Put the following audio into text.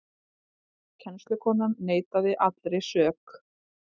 Kennslukonan neitar allri sök